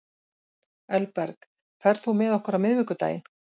Elberg, ferð þú með okkur á miðvikudaginn?